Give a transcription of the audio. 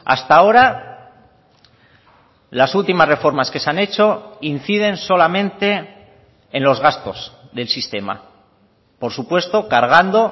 hasta ahora las últimas reformas que se han hecho inciden solamente en los gastos del sistema por supuesto cargando